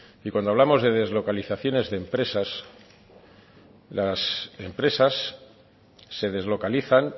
y cuando hablamos de deslocalizaciones de empresas las empresas se deslocalizan